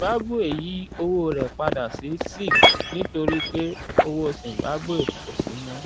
zimbabwe yí owó rẹ̀ padà sí zig nítorí pé owó zimbabwe kò sí mọ́